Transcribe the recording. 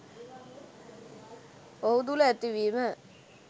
ඔහු තුළ ඇතිවීම